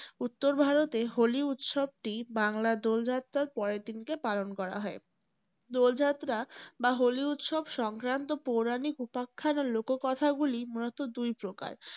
উত্তর ভারতে হোলি উৎসবটি বাংলা দোল যাত্রার পরের দিনকে পালন করা হয়। দোল যাত্রা বা হোলি উৎসব সংক্রান্ত পৌরাণিক উপাখ্যানের লোক কথাগুলি মূলতঃ দুই প্রকার।